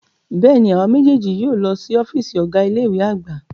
Bẹ́ẹ̀ni, awa mejeeji yóò lọ si ọfiisi Ọga ile-iwe agba